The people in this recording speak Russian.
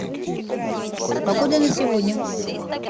погода на сегодня